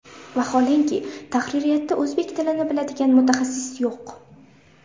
Vaholanki, tahririyatda o‘zbek tilini biladigan mutaxassis yo‘q.